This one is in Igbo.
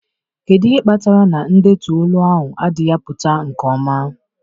Kedu ihe kpatara na ndetu olu ahụ adịghị apụta nke ọma?